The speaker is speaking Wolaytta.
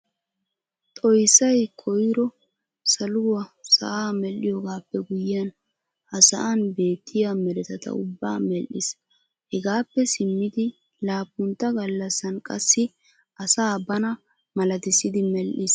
Xoissay koyro saluwa sa'aa medhdhoogaappe guyyiyan ha sa'an beettiya meretata ubbaa medhshiis. Hegaappe simmidi laappuntta gallassan qassi asaa bana malatissidi medhdhiis.